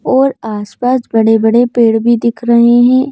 और आसपास बड़े-बड़े पेड़ भी दिख रहे हैं।